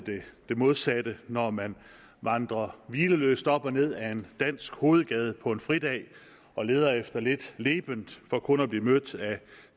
det modsatte når man vandrer hvileløst op og ned ad en dansk hovedgade på en fridag og leder efter lidt leben for kun at blive mødt af